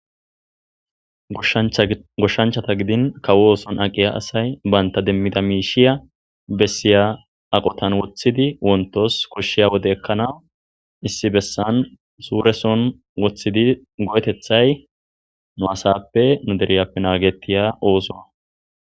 Goshshanchchati gidin kawo oththon aqiya asay bantta demida mishshiya besiyiya aqqotan woththidi wonttos koshshiya wode ekkanawu isdi bessan suureson woththidi go'eteththay nu asappe nu dereppe nagetiza oththo.